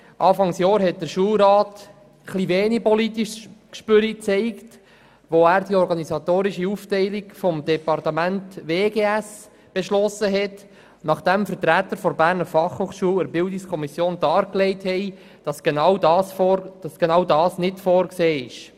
Damals zeigte der Schulrat etwas wenig politisches Gespür, als er die organisatorische Aufteilung des Departements Wirtschaft, Gesundheit, Soziale Arbeit (WGS) beschloss, nachdem Vertreter der Berner Fachhochschule der Bildungskommission dargelegt hatten, dass genau dies nicht vorgesehen sei.